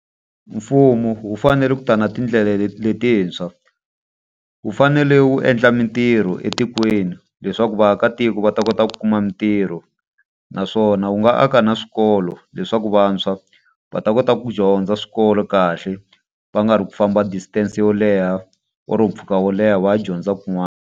Mfumo wu fanele ku ta na tindlela letintshwa, wu fanele wu endla mintirho etikweni leswaku vaakatiko va ta kota ku kuma mintirho. Naswona wu nga aka na swikolo leswaku vantshwa va ta kota ku dyondza swikolo kahle, va nga ri ku famba distance yo leha or mpfhuka wo leha va ya dyondza kun'wana.